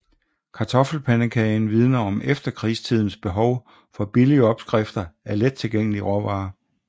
Kartoffelpandekagen vidner om efterkrigstidens behov for billige opskrifter af let tilgængelige råvarer